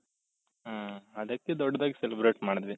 ಹ್ಮ್ ಅದಕ್ಕೆ ದೊಡ್ಡದಾಗಿ celebrate ಮಾಡಿದ್ವಿ.